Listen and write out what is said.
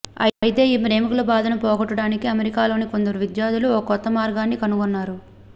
అయితే ఈ ప్రేమికుల బాధను పోగొట్టేందుకు అమెరికాలోని కొందరు విద్యార్థులు ఓ కొత్త మార్గాన్ని కనుగొన్నారు